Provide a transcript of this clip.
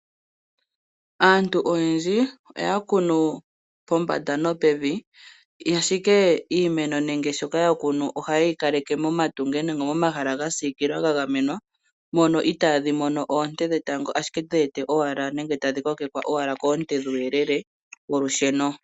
Aantu oyendji oya kunu pombanda nopevi. Ashike iimeno nenge shoka yakunu ohaye yi kaleke momatungo nenge momahala gasiikilwa gagamenwa mono iitadhi mono oonte dhetango ashike dhiwete owala nenge tadhi kokekwa owala koonte dhuuyelele wolusheno.